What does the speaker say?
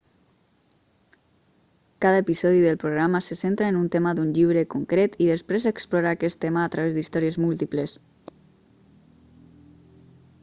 cada episodi del programa se centra en un tema d'un llibre concret i després explora aquest tema a través d'històries múltiples